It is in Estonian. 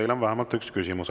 Teile on vähemalt üks küsimus.